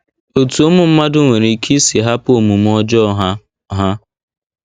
Otú ụmụ mmadụ nwere ike isi hapụ omume ọjọọ ha ha.